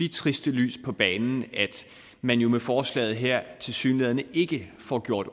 triste lys på banen at man jo med forslaget her tilsyneladende ikke får gjort